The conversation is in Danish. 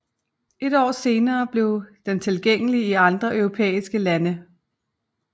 Et år senere blev den tilgængelig i andre europæiske lande